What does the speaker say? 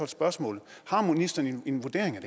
spørgsmålet har ministeren en vurdering af